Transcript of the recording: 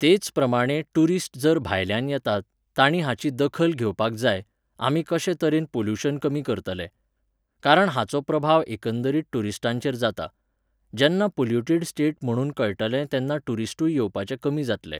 तेच प्रमाणे टुरिस्ट जर भायल्यान येतात, तांणी हाची दखल घेवपाक जाय, आमी कशे तरेन pollution कमी करतले. कारण हाचो प्रभाव एकंदरीत टुरीस्टांचेर जाता. जेन्नां polluted state म्हणून कळटलें तेन्ना टुरीस्टूय येवपाचे कमी जातले